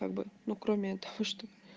как бы ну кроме этого что